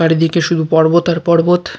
চারিদিকে শুধু পর্বত আর পর্বত।